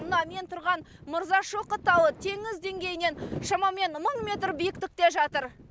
мына мен тұрған мырзашоқы тауы теңіз деңгейінен шамамен мың метр биіктікте жатыр